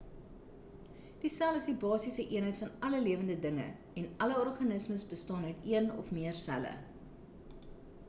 die sel is die basiese eenheid van alle lewende dinge en alle organismes bestaan uit een of meer selle